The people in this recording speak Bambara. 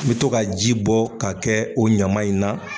I bɛ to ka ji bɔ ka kɛ o ɲaman in na